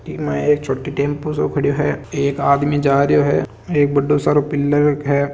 ई माय एक छोटी टेंपो सो खड़ो है एक आदमी जा रियो है एक बड्डो सारों पिलर है।